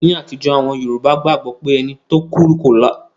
Ní àtijó, àwon Yorùbá gbagbo pé ẹni to kú láì dàgbà ko lo sọrun sùgbón yio ma rìn kírí